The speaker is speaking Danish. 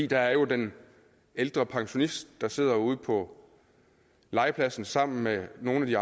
der er den ældre pensionist der sidder ude på legepladsen sammen med nogle af de